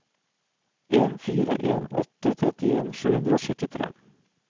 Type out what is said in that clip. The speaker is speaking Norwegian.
en fire en åtte trettien sju hundre og syttitre